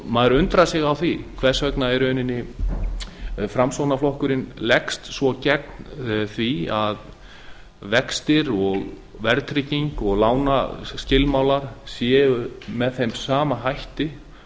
maður undrar sig á því hvers vegna í rauninni framsóknarflokkurinn leggst svo gegn því að vextir og verðtrygging og lánaskilmálar séu með þeim sama hætti